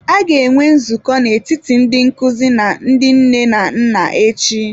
A ga-enwe nzukọ n'etiti ndị nkuzi na ndị nne na nna echi.